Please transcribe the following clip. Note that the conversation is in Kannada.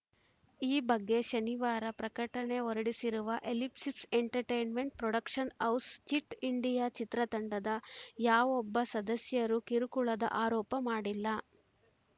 ಈ ಬಗ್ಗೆ ಶನಿವಾರ ಪ್ರಕಟಣೆ ಹೊರಡಿಸಿರುವ Ellipsis entertainment production house cheat India ಚಿತ್ರತಂಡದ ಯಾವೊಬ್ಬ ಸದಸ್ಯರು ಕಿರುಕುಳದ ಆರೋಪ ಮಾಡಿಲ್ಲ